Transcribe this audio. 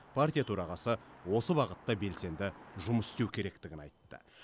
партия төрағасы осы бағытта белсенді жұмыс істеу керектігін айтты